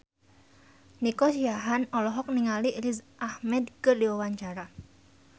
Nico Siahaan olohok ningali Riz Ahmed keur diwawancara